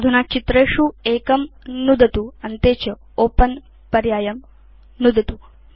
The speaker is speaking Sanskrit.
अधुना चित्रेषु एकं नुदतु अन्ते च ओपेन पर्यायं नुदतु